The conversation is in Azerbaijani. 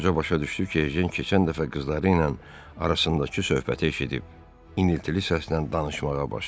Qoca başa düşdü ki, Ejen keçən dəfə qızları ilə arasındakı söhbəti eşidib, iniltili səslə danışmağa başladı.